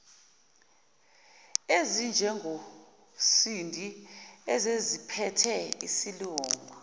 ezinjengosindi eseziziphethe isilungu